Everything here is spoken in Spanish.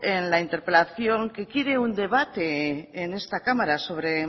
en la interpelación que quiere un debate en esta cámara sobre